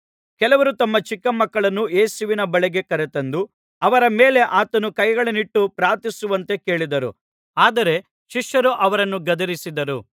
ಕೆಲವರು ತಮ್ಮ ಚಿಕ್ಕ ಮಕ್ಕಳನ್ನು ಯೇಸುವಿನ ಬಳಿಗೆ ಕರೆತಂದು ಅವರ ಮೇಲೆ ಆತನು ಕೈಗಳನ್ನಿಟ್ಟು ಪ್ರಾರ್ಥಿಸುವಂತೆ ಕೇಳಿದರು ಆದರೆ ಶಿಷ್ಯರು ಅವರನ್ನು ಗದರಿಸಿದರು